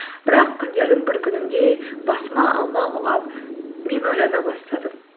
бірақ күндердің бір күнінде басыма алма құлап мен ойлана бастадым